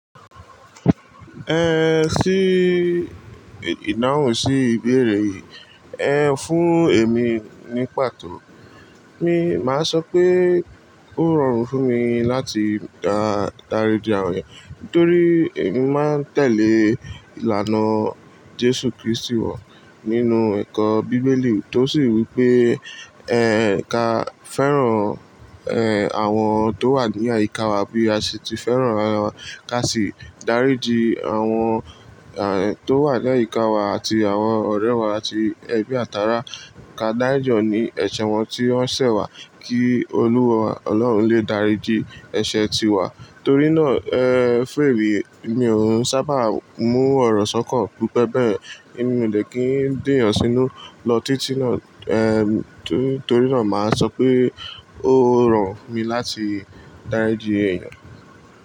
Ẹhn sí ìdáhùn sí ìbéèrè yìí. Ẹ fún èmi ní pàtó. Mi máa sọ pé ó rọrùn fún mi láti dà, dáríji àwọn èèyàn nítorí èmi máa ń tẹ̀lé ìlànà Jésù Kristi wa nínú ẹ̀kọ́ Bíbélì tó sì wí pé ẹ ka fẹ́ràn, ẹ àwọn tó wà ní àyíká wa bí a ṣe ti fẹ́ràn ara wa ká sì dáríji àwọn è tó wà ní àyíká wa àti àwọn ọ̀rẹ́ wa àti ẹbí àtáara. Ka dárí jì wọ́n ní ẹ̀ṣẹ̀ wọn tí wọ́n ṣẹ̀ wá kí Olúwa Ọlọ́run lè dáríji ẹ̀ṣẹ̀ tiwa. Torí náà, ẹ fún emii, èmi ò ún sábà mú ọ̀rọ̀ sọ́kan. Gẹ́gẹ́ bẹ́ẹ̀, èmi ò lè kí ń dèyàn sínú lọ títí náà. Ehm, tú torí ná, má sọ wípé ó rọrùn fún mi láti dáríji èèyàn.